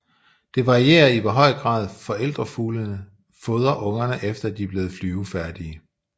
Det varierer i hvor høj grad forældrefuglene fodrer ungerne efter de er blevet flyvefærdige